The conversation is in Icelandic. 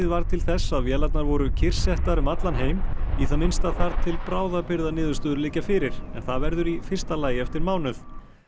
varð til þess að vélarnar voru kyrrsettar um allan heim í það minnsta þar til bráðabirgðaniðurstöður liggja fyrir en það verður í fyrsta lagi eftir mánuð